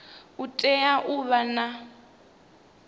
u tea u vha na